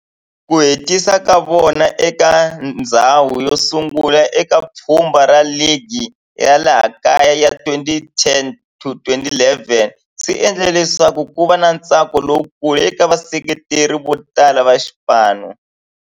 Ku hetisa ka vona eka ndzhawu yosungula eka pfhumba ra ligi ya laha kaya ya 2010-11 swi endle leswaku kuva na ntsako lowukulu eka vaseketeri votala va xipano.